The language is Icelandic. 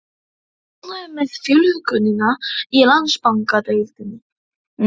Ertu ánægður með fjölgunina í Landsbankadeildinni?